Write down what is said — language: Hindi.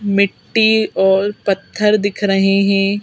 मिट्टी और पत्थर दिख रहे हैं।